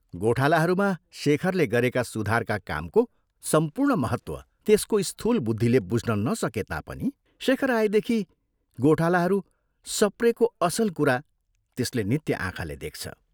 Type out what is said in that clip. गोठालाहरूमा शेखरले गरेका सुधारका कामको सम्पूर्ण महत्त्व त्यसको स्थूल बुद्धिले बुझ्न नसके तापनि शेखर आएदेखि गोठालाहरू सप्रेको असल कुरा त्यसले नित्य आँखाले देख्छ।